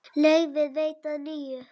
Leyfi veitt að nýju